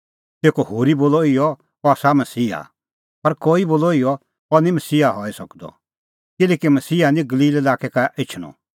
तेखअ होरी बोलअ इहअ अह आसा मसीहा पर कई बोलअ इहअ अह निं मसीहा हई सकदअ किल्हैकि मसीहा निं गलील लाक्कै का एछणअ